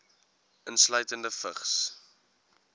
insluitende vigs